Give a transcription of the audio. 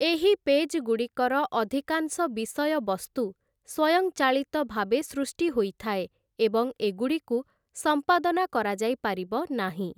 ଏହି ପେଜ୍‌ଗୁଡ଼ିକର ଅଧିକାଂଶ ବିଷୟବସ୍ତୁ ସ୍ୱୟଂଚାଳିତ ଭାବେ ସୃଷ୍ଟି ହୋଇଥାଏ, ଏବଂ ଏଗୁଡ଼ିକୁ ସମ୍ପାଦନା କରାଯାଇପାରିବ ନାହିଁ ।